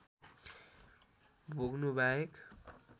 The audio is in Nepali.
भोग्नु बाहेक